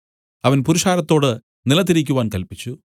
അവൻ പുരുഷാരത്തോട് നിലത്തു ഇരിക്കുവാൻ കല്പിച്ചു